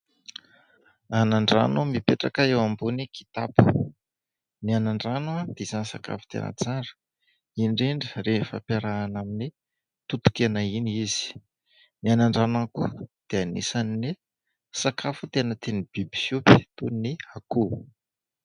Anandrano mipetraka eo ambony kitapo. Ny anandrano dia isany sakafo tena tsara, indrindra rehefa ampiarahana amin'ny totokena iny izy. Ny anandrano ihany koa dia anisan' ny sakafo tena tian' ny biby fiompy toy ny akoho.